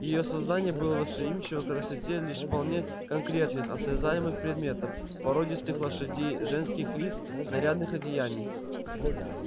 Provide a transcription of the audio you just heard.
её сознание было восприимчиво к красоте лишь вполне конкретных осязаемых предметов породистых лошадей женских лиц нарядных одеяний